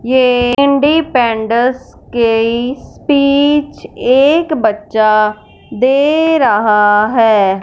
ये इंडिपेंडस के स्पीच एक बच्चा दे रहा है।